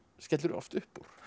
skellir oft upp úr